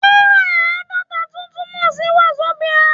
Náírà Aadọ́ta tún túmọ̀ sí Wazobia.